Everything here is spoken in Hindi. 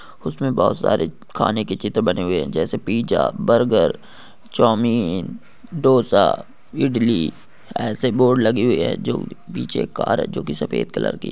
उसमें बहुत सारे खाने के चित्र बने हुए हैं जैसे pizza burger chowmein dosa idli ऐसे बोर्ड लगे हुए हैं जो बीच एक कार है जो कि सफेद कलर की --